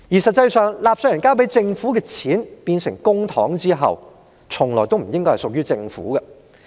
實際上，當納稅人交給政府的錢變成公帑後，這些錢從來也不應該是屬於政府的。